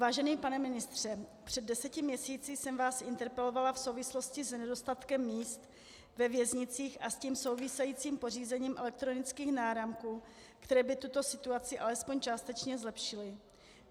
Vážený pane ministře, před deseti měsíci jsem vás interpelovala v souvislosti s nedostatkem míst ve věznicích a s tím souvisejícím pořízením elektronických náramků, které by tuto situaci alespoň částečně zlepšily.